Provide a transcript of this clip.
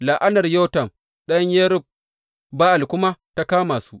La’anar Yotam ɗan Yerub Ba’al kuma ta kama su.